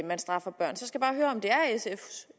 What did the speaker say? man straffer børn så skal jeg bare høre om det